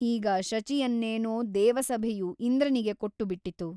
ಈಗ ಶಚಿಯನ್ನೇನೋ ದೇವಸಭೆಯು ಇಂದ್ರನಿಗೆ ಕೊಟ್ಟುಬಿಟ್ಟಿತು.